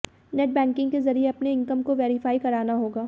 नेटबैकिंग के जरिए अपने इनकम को वेरिफाई कराना होगा